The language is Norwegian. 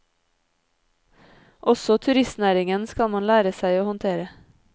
Også turistnæringen skal man lære seg å håndtere.